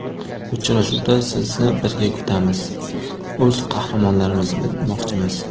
Uchrashuvda sizni birga kutamiz, o‘z qahramonlarimizni bilmoqchimiz.